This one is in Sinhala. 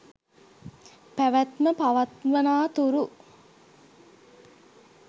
පැවැත්ම පවත්වනා තුරු